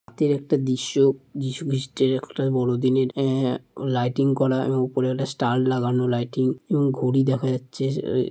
এর একটা দৃশ্য যিশু খ্রিস্টের একটা বড় দিনের আ লাইটিং করার। উপরে একটা স্টার লাগানো লাইটিং এবং ঘড়ি দেখা যাচ্ছে আ।